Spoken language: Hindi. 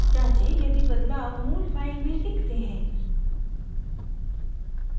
जाँचें यदि बदलाव मूल file में दिखते हैं